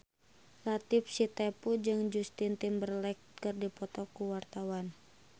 Latief Sitepu jeung Justin Timberlake keur dipoto ku wartawan